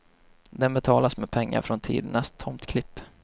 Den betalas med pengar från tidernas tomtklipp.